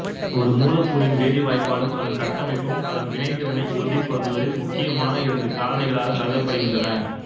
ஒரு மூலக்கூறின் வேதிவாய்ப்பாடும் அதன் கட்டமைப்பும் அதன் வினைதிறனை உறுதிப்படுத்துதலில் முக்கியமான இரண்டு காரணிகளாகக் கருதப்படுகின்றன